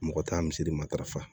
Mɔgɔ t'a misiri matarafa